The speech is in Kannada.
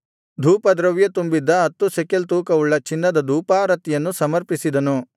ಧೂಪದ್ರವ್ಯ ತುಂಬಿದ್ದ ಹತ್ತು ಶೆಕೆಲ್ ತೂಕವುಳ್ಳ ಚಿನ್ನದ ಧೂಪಾರತಿಯನ್ನು ಸಮರ್ಪಿಸಿದನು